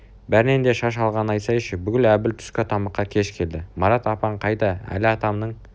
бәрінен де шаш алғанын айтсайшы бүгін әбіл түскі тамаққа кеш келді марат апаң қайда әли атамның